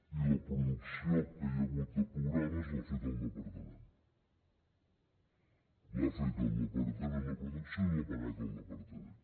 i la producció que hi ha hagut de programes l’ha fet el departament l’ha fet el departament la producció i l’ha pagat el departament